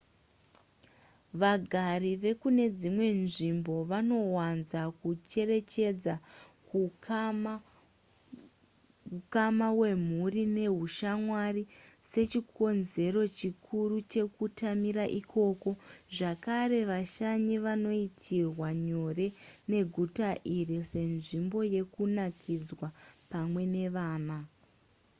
vagari vekune dzimwe nzvimbo vanowanza kucherechedza hukama hwemhuri nehushamwari sechikonzero chikuru chekutamira ikoko zvakare vashanyi vanoitirwa nyore neguta iri senzvimbo yekunakidzwa pamwe nevana